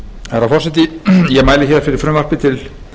virðulegi forseti ég mæli hér fyrir frumvarpi til